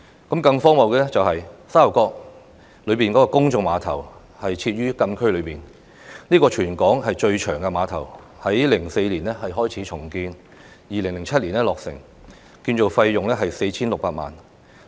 更荒謬的是，沙頭角公眾碼頭設於禁區內，它是全港最長的碼頭，在2004年開始重建，並於2007年落成，建造費用達 4,600 萬元。